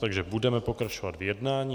Takže budeme pokračovat v jednání.